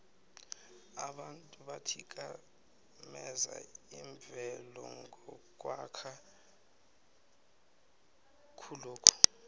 abantu bathikameza imvelo ngokwakha khulokhu